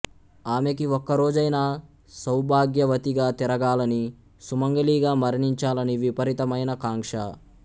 అమెకి ఒక్కరోజైనా సౌభాగ్యవతిగా తిరగాలని సుమంగళిగా మరణించాలని విపరీతమైన కాంక్ష